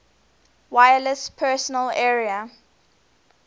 wireless personal area